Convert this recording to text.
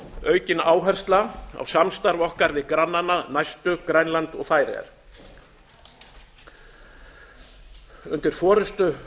aukin áhersla á samstarf okkar við næstu granna okkar grænland og færeyjar undir forustu